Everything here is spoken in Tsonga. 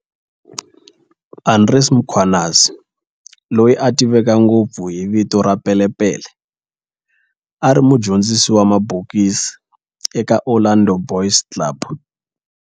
Andries Mkhwanazi, loyi a tiveka ngopfu hi vito ra Pele Pele, a ri mudyondzisi wa mabokisi eka Orlando Boys Club.